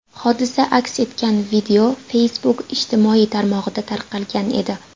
Hodisa aks etgan video Facebook ijtimoiy tarmog‘ida tarqalgan edi.